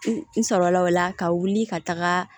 N sɔrɔla o la ka wuli ka taga